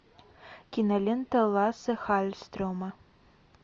кинолента лассе халльстрема